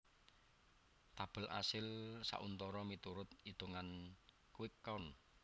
Tabel asil sauntara miturut itungan quick count